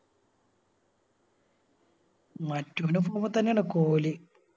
മറ്റൊനും Form തന്നെയാണ് കോഹ്ലി